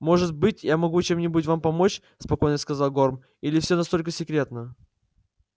может быть я могу чем-нибудь вам помочь спокойно сказал горм или всё настолько секретно